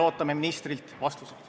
Ootame ministrilt neile vastuseid.